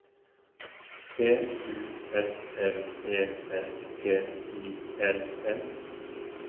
P U S L E S P I L L